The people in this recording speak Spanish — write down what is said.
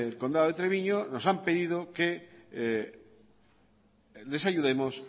condado de treviño nos han pedido que les ayudemos